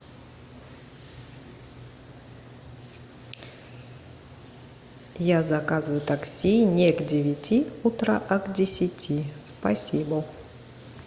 я заказываю такси не к девяти утра а к десяти спасибо